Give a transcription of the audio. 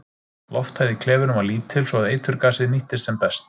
Lofthæð í klefunum var lítil svo að eiturgasið nýttist sem best.